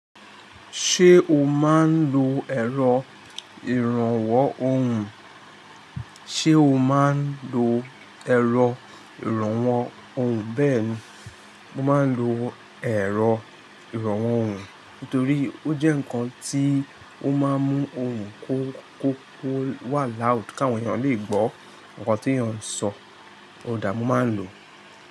Ṣé o máa ń lo ẹ̀rọ ìrànwọ́ ohùn? Ṣé o máa ń lo ẹ̀rọ ìrànwọ́ ohùn? Bẹ́ẹ̀ni, mo máa ń lo ẹ̀rọ ìrànwọ́ ohùn, nítorí ó jẹ́ nǹkan tí ó máa ń mú ohùn kó wà láùd k'àwọn èèyàn lè gbọ́ nǹkan tí èèyàn ń sọ. Ó dàá mo máa ń lò ó.